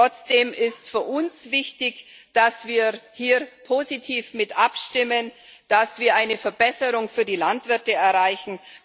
Trotzdem ist für uns wichtig, dass wir hier positiv abstimmen, dass wir eine Verbesserung für die Landwirte erreichen.